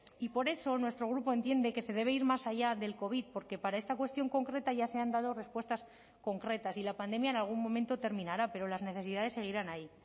y por eso nuestro grupo entiende que se debe ir más allá del covid porque para esta cuestión concreta ya se han dado respuestas concretas y la pandemia en algún momento terminará pero las necesidades seguirán ahí